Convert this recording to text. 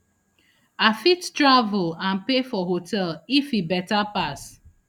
i fit travel and pay for hotel if e beta pass